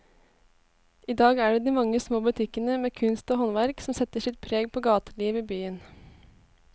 I dag er det de mange små butikkene med kunst og håndverk som setter sitt preg på gatelivet i byen.